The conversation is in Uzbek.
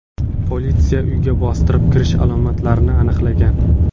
Politsiya uyga bostirib kirish alomatlarini aniqlagan.